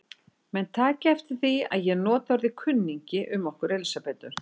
Menn taki eftir því að ég nota orðið kunningi um okkur Elsabetu.